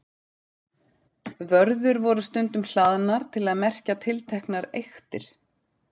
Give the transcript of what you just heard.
Vörður voru stundum hlaðnar til að merkja tilteknar eyktir.